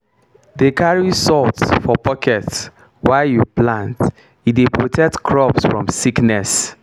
dey carry salt for pocket while you plant e dey protect crops from sickness.